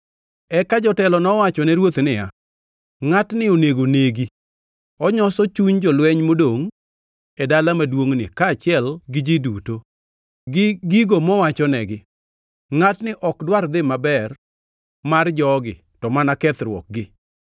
Eka jotelo nowachone ruoth niya, “Ngʼatni onego negi. Onyoso chuny jolweny modongʼ e dala maduongʼ ni, kaachiel gi ji duto, gi gigo mowachonegi. Ngʼatni ok dwar dhi maber mar jogi to mana kethruokgi.”